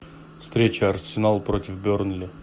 встреча арсенал против бернли